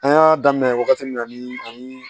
An y'a daminɛ wagati min na ni